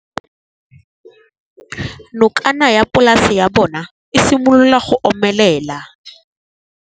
Nokana ya polase ya bona, e simolola go omelela.